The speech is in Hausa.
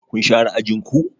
Kun share ajin ku?